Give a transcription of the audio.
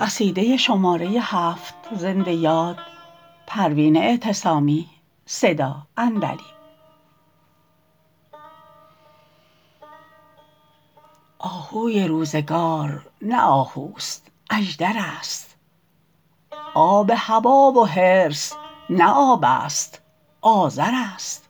آهوی روزگار نه آهوست اژدر است آب هوی و حرص نه آبست آذر است